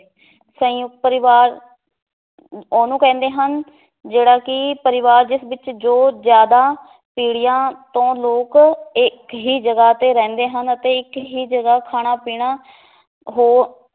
ਸੰਯੁਕਤ ਪਰਿਵਾਰ ਉਹਨੂੰ ਕਹਿੰਦੇ ਹਨ ਜਿਹੜਾ ਕਿ ਪਰਿਵਾਰ ਜਿਸ ਵਿੱਚ ਜੋ ਜ਼ਿਆਦਾ ਪੀੜੀਆਂ ਤੋਂ ਲੋਕ ਇੱਕ ਹੀ ਜਗ੍ਹਾ ਤੇ ਰਹਿੰਦੇ ਹਨ ਅਤੇ ਇੱਕ ਹੀ ਜਗ੍ਹਾ ਖਾਣਾ ਪੀਣਾ ਹੋ